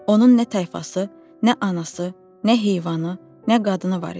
Onun nə tayfası, nə anası, nə heyvanı, nə qadını var idi.